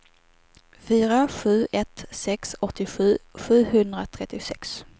fyra sju ett sex åttiosju sjuhundratrettiosex